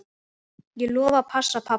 Ég lofa að passa pabba.